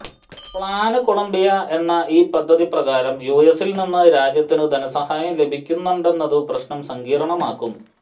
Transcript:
plan Colombia എന്ന ഈ പദ്ധതിപ്രകാരം യുഎസില്നിന്ന് രാജ്യത്തിനു ധനസഹായം ലഭിക്കുന്നുണ്ടെന്നതു പ്രശ്നം സങ്കീര്ണമാക്കും